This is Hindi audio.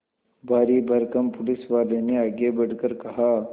भारीभरकम पुलिसवाले ने आगे बढ़कर कहा